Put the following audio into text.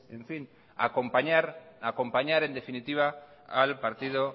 acompañar en definitiva al partido